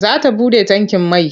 Za ta buɗe tankin mai.